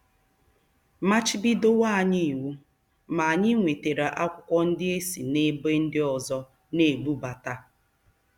Machibidowo anyị iwu, ma anyị nwetara akwụkwọ ndị e si n'ebe ndị ọzọ na-ebubata.